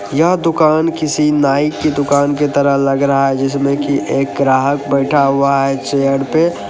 यह दुकान किसी नई की दुकान की तरह लग रहा है जिसमें की एक ग्राहक बैठा हुआ है चेयर पे।